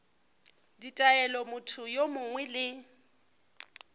ditaelo motho yo mongwe le